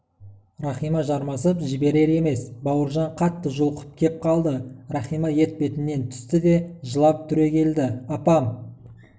рахима жармасып жіберер емес бауыржан қатты жұлқып кеп қалды рахима етпетінен түсті де жылап түрегелді апам